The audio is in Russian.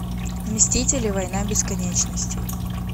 мстители война бесконечности